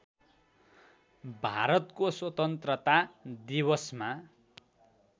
भारतको स्वतन्त्रता दिवसमा